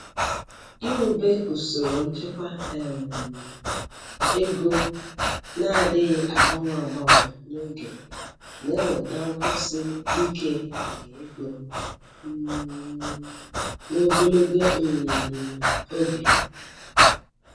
Iwube usoro nchekwa um ego na-adịghị agbanwe agbanwe n'oge na-eweta nkwụsi ike nke ego um n'ogologo um oge.